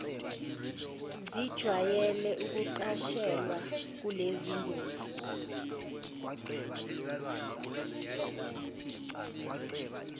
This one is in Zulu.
zijwayele ukuqashelwa kulezingosi